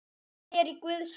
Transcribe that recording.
Allt er í Guðs hendi.